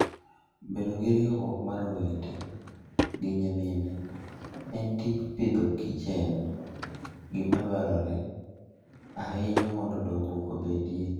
Bedo gi riwruok mar owete gi nyimine e tij Agriculture and Fooden gima dwarore ahinya mondo dongruok obedie.